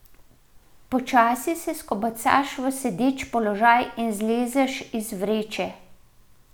Počasi se skobacaš v sedeč položaj in zlezeš iz vreče.